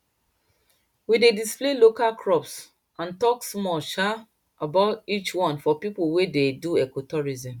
we dey display local crops and talk small um about each one for people wey dey do ecotourism